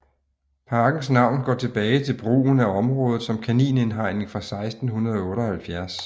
Parkens navn går tilbage til brugen af området som kaninindhegning fra 1678